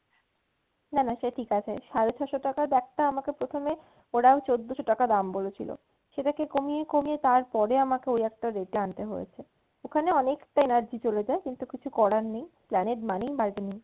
না না সে ঠিক আছে সাড়ে ছয়শ টাকার bag টা আমাকে প্রথমে ওরা চোদ্দশ টাকা দাম বলেছিল সেটা কে কমিয়ে কমিয়ে তার পরে আমাকে ওই একটা rate এ আনতে হয়েছে ওখানে অনেকটা energy চলে যায় কিন্তু কিছু করার নেই Esplanade মানেই bargaining.